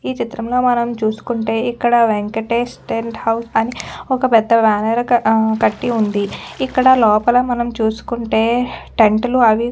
ఈ చిత్రం లో మనం చూసుకుంటే ఇక్కడ వెంకటేశ్ టెన్ట్ హౌస్ అని ఒక పెద్ద బ్యానర్ ఆ కట్టి ఉందిఇక్కడ లోపల మనమ చూసుకుంటే టెంట్ లు అవి కూడా --